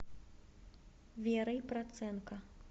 верой проценко